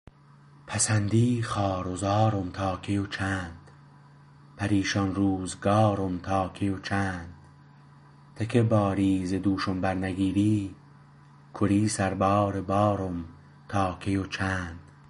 پسندی خوار و زارم تا کی و چند پریشان روزگارم تا کی و چند ته که باری ز دوشم برنگیری گری سربار بارم تا کی و چند